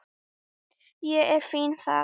Ég er fínn þar.